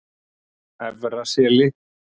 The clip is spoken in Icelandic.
Efra Seli